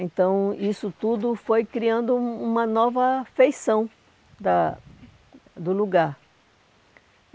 Então, isso tudo foi criando um uma nova feição da do lugar.